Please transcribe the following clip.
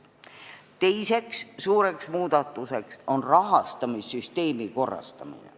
Teine suur muudatus on rahastamissüsteemi korrastamine.